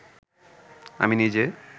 আমি নিজে